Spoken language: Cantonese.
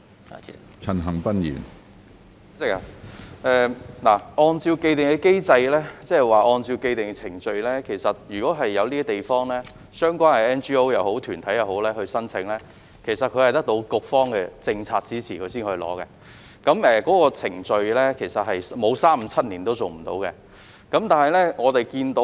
主席，按照既定機制，即是按照既定程序，相關的 NGO 或非政府團體就某些地方提出申請，是必須獲得局方的政策支持才可以提出的，在程序上沒有三五七年也做不到。